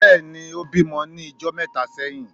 Bẹẹni, ìbímo ni ijó méta seyín